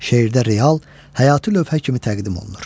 Şeirdə real, həyatı lövhə kimi təqdim olunur.